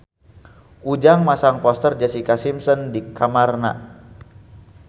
Ujang masang poster Jessica Simpson di kamarna